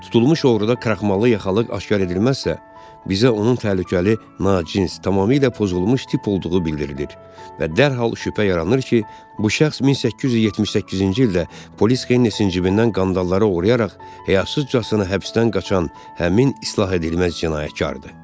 Tutulmuş oğruda kraxmalı yaxalıq aşkar edilməzsə, bizə onun təhlükəli, nacins, tamamilə pozulmuş tip olduğu bildirilir və dərhal şübhə yaranır ki, bu şəxs 1878-ci ildə polis Heynisin cibindən qandalları oğurlayaraq həyasızcasına həbsdən qaçan həmin islah edilməz cinayətkardır.